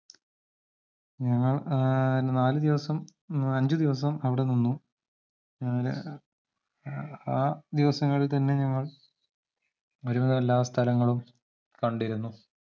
ഞങ്ങൾ ഏർ നാലുദിവസം മ് അഞ്ചുദിവസം അവടെ നിന്നു ഏഹ് ആഹ് ദിവസങ്ങൾ തന്നെ ഞങ്ങൾ ഒരുവിധം എല്ലാസ്ഥലങ്ങളും കണ്ടിരുന്നു